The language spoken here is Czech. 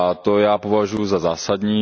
A to já považuju za zásadní.